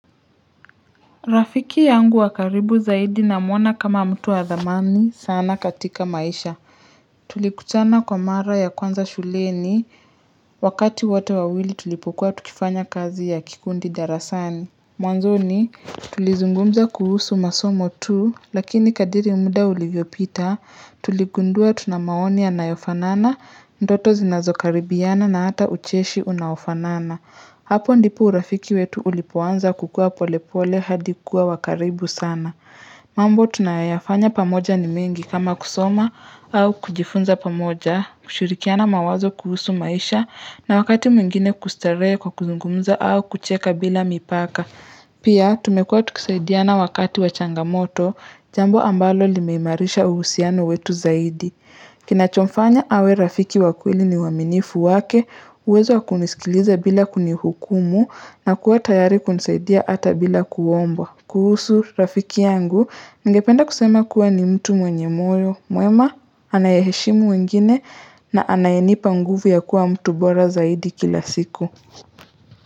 Rafiki yangu wakaribu zaidi na mwona kama mtu wadhamani sana katika maisha. Tulikutana kwa mara ya kwanza shuleni wakati wote wawili tulipokuwa tukifanya kazi ya kikundi darasani. Mwanzo ni tulizungumza kuhusu masomo tu lakini kadiri muda ulivyopita tuligundua tunamaoni yanayofanana ndoto zinazokaribiana na hata ucheshi unaofanana. Hapo ndipo urafiki wetu ulipoanza kukua pole pole hadikuwa wakaribu sana. Mambo tunayafanya pamoja ni mengi kama kusoma au kujifunza pamoja, kushurikiana mawazo kuhusu maisha na wakati mwingine kustaree kwa kuzungumza au kucheka bila mipaka. Pia tumekuwa tukisaidiana wakati wachangamoto jambo ambalo limeimarisha uhusiano wetu zaidi. Kina chomfanya awe rafiki wa kweli ni uaminifu wake, uwezo wakunisikiliza bila kunihukumu na kuwa tayari kunisaidia ata bila kuomba. Kuhusu, rafiki yangu ngependa kusema kuwa ni mtu mwenye moyo, mwema, anayeshimu wengine na anayenipa nguvu ya kuwa mtu bora zaidi kila siku.